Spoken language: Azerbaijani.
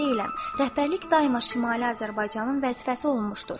Rəhbərlik daima Şimali Azərbaycanın vəzifəsi olmuşdur.